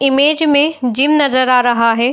Image में gym नज़र आ रहा है।